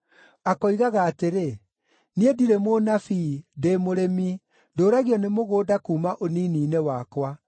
Akoigaga atĩrĩ, ‘Niĩ ndirĩ mũnabii, ndĩ mũrĩmi, ndũũragio nĩ mũgũnda kuuma ũnini-inĩ wakwa.’